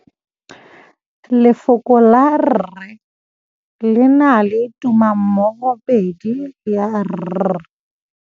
Lefoko la rre le na le tumammogôpedi ya, r.